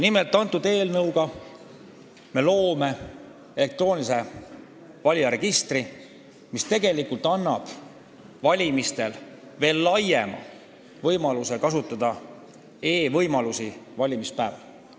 Selle eelnõu kohaselt luuakse elektrooniline valijaregister, mis annab laiema võimaluse kasutada e-lahendusi ka valimispäeval.